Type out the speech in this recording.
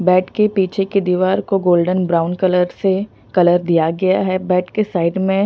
bed के पीछे की दीवार को गोल्डन ब्राउन कलर से कलर दिया गया है बेड के साइड में--